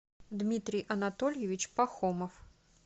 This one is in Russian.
дмитрий анатольевич пахомов